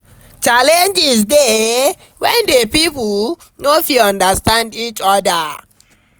Challenges de when di pipo no fit understand each other